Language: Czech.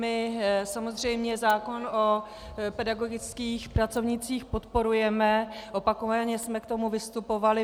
My samozřejmě zákon o pedagogických pracovnících podporujeme, opakovaně jsme k tomu vystupovali.